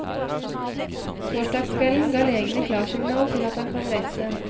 Torsdagskvelden ga legene klarsignal til at han kan reise.